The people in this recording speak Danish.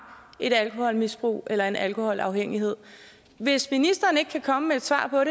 et alkoholmisbrug eller en alkoholafhængighed hvis ministeren ikke kan komme med et svar på